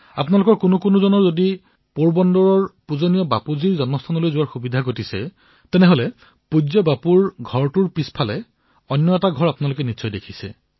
আপোনালোকৰ কোনোবাজনে যদি পোৰবন্দৰ পূজ্য বাপুৰ জন্মস্থানলৈ যোৱাৰ সৌভাগ্য লাভ কৰিছে তেন্তে পূজ্য বাপুৰ ঘৰৰ পিছফালে এটা ঘৰ আছে